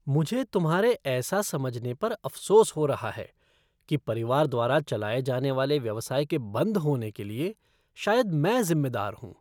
मुझे तुम्हारे ऐसा समझने पर अफसोस हो रहा है कि परिवार द्वारा चलाए जाने वाले व्यवसाय के बंद होने के लिए शायद मैं जिम्मेदार हूँ।